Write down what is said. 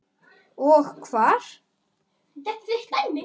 Og hvar.